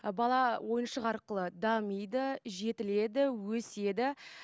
бала ойыншық арқылы дамиды жетіледі өседі